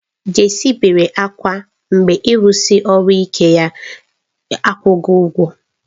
Jaachii bere ákwá mgbe ịrụsi ọrụ ike ya akwụghị ụgwọ.